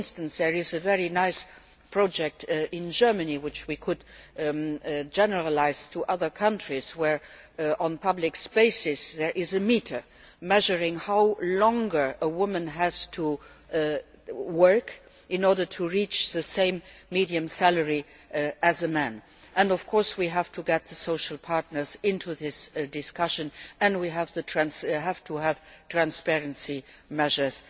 For instance, there is a very nice project in Germany which we could generalise to other countries where, in public spaces, there is a meter measuring how much longer a woman has to work in order to reach the same medium salary as a man. Of course, we also have to get the social partners into this discussion and we have to have transparency measures